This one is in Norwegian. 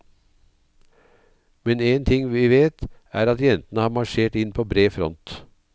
Men en ting vi vet, er at jentene har marsjert inn på bred front.